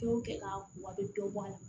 Fɛnw kɛ k'a kuma a bɛ dɔ bɔ a la